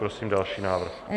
Prosím další návrh.